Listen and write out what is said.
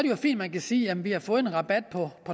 jo fint man kan sige jamen vi har fået en rabat på